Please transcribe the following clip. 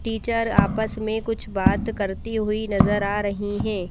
Teacher आपस में कुछ बात करती हुई नजर आ रही है।